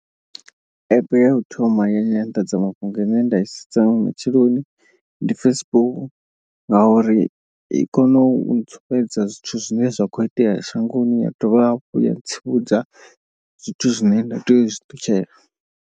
App ya u thoma ya nyanḓadzamafhungo ine nda i sedza nga matsheloni ndi Facebook. Ngauri i kono u ntsumbedza zwithu zwine zwa kho itea shangoni ya dovha hafhu ya tsivhudza zwithu zwine nda tea uzwi ṱutshela.